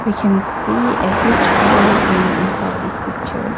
We can see a huge building inside this picture.